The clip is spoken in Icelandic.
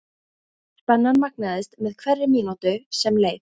Spennan magnaðist með hverri mínútu sem leið.